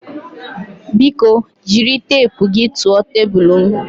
Biko jiri teepu gị tụọ tebụl m